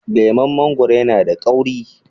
leman mangoro yana da kauri